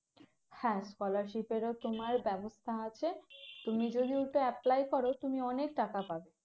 হ্যাঁ scholarship এরও তোমার ব্যবস্থা আছে তুমি যদি ওটা apply করো তুমি অনেক টাকা পাবে